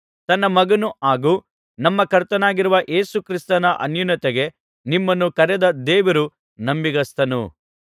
ತನ್ನ ಮಗನೂ ಹಾಗೂ ನಮ್ಮ ಕರ್ತನಾಗಿರುವ ಯೇಸು ಕ್ರಿಸ್ತನ ಅನ್ಯೋನ್ಯತೆಗೆ ನಿಮ್ಮನ್ನು ಕರೆದ ದೇವರು ನಂಬಿಗಸ್ತನು